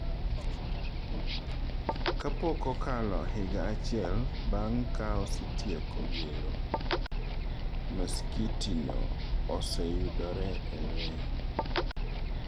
Ka pok okalo higa achiel bang’ ka osetieko gero, masikiti no oseyudore e lweny.